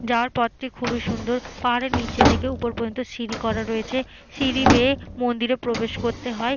যাওয়ার পথটি খুবই সুন্দর পাহাড়ের নিচে থেকে ওপর পর্যন্ত সিঁড়ি করা রয়েছে সিঁড়ি বেয়ে মন্দিরে প্রবেশ করতে হয়।